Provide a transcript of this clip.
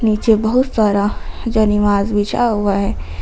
नीचे बहुत सारा जानिवाज बिछा हुआ हैं।